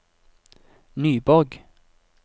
Nyborg